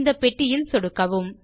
இந்த பெட்டியில் சொடுக்கவும்